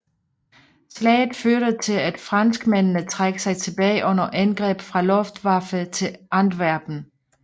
Slaget førte til at franskmændene trak sig tilbage under angreb fra Luftwaffe til Antwerpen